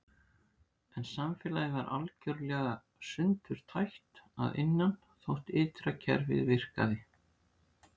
En samfélagið var algjörlega sundurtætt að innan þótt ytra kerfið virkaði.